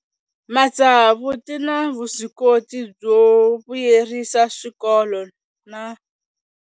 Matsavu ti na vuswikoti byo vuyerisa swikolo na.